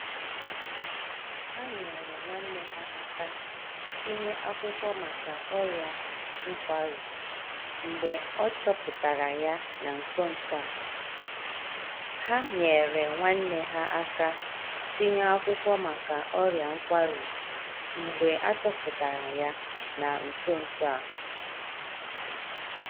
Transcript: Ha nyeere nwanne ha aka tinye akwụkwọ maka ọria nkwarụ mgbe a chọpụtara ya na nso nso a.